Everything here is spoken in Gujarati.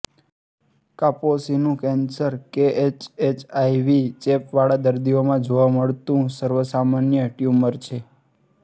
કાપોસીનું કેન્સર કેએસએચઆઇવી ચેપ વાળા દર્દીઓમાં જોવા મળતું સર્વસામાન્ય ટ્યુમર છે